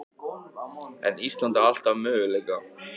En Ísland á alltaf möguleika